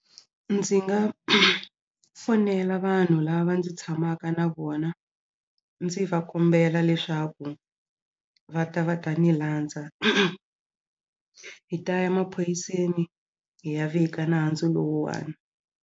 Ndzi nga fonela vanhu lava ndzi tshamaka na vona ndzi va kombela leswaku va ta va ta ni landza hi ta ya maphoyiseni hi ya vika nandzu lowuwani.